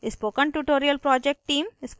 spoken tutorial project team: